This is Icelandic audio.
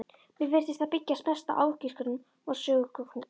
Mér virtist það byggjast mest á ágiskunum og sögusögnum.